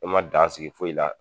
E ma dan sigi foyi la